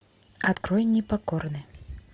открой непокорные